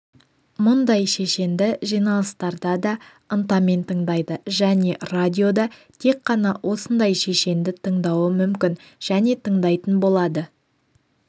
мұндай шешенді жиналыстарда да ынтамен тыңдайды және радиода тек қана осындай шешенді тыңдауы мүмкін және тыңдайтын болады